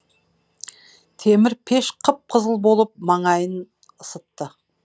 темір пеш қып қызыл болып маңайын ысытты